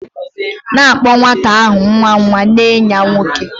...na akpo nwata ahu nwa nwa nee ya nwoke